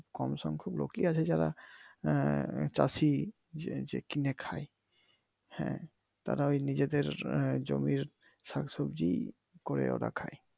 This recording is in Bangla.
কম সংখ্যক লোকই আছে যারা আহ চাষি যে কিনে খায়। হ্যাঁ তারাই ওই নিজেদের জমির শাকসবজি করে ওরা খায়